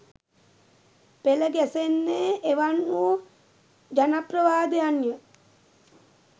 පෙළ ගැසෙන්නේ එවන් වූ ජනප්‍රවාදයන් ය.